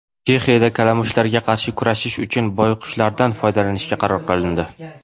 Chexiyada kalamushlarga qarshi kurashish uchun boyqushlardan foydalanishga qaror qilindi.